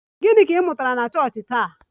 Gịnị ka ị mụtara na chọọchị taa?